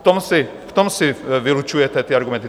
V tom si vylučujete ty argumenty.